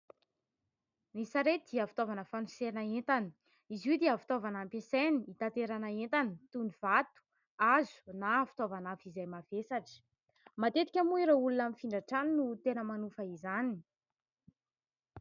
Ny sarety dia fitaovana fanosehana entana, izy io dia fitaovana ampiasaina hitaterana entana toy ny : vato, hazo na fitaovana hafa izay mavesatra. Matetika moa ireo olona mifindra trano no tena manofa izany.